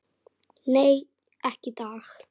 Nei, ekki í dag.